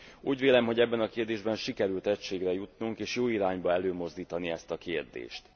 Úgy vélem, hogy ebben a kérdésben sikerült egységre jutnunk és jó irányba előmozdítani ezt a kérdést.